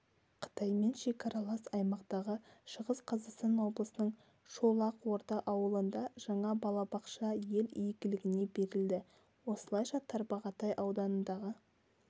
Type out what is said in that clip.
қытаймен шекаралас аймақтағы шығыс қазақстан облысының шолақорда ауылында жаңа балабақша ел игілігіне берілді осылайша тарбағатай ауданындағы